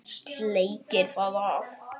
Sleikir það af.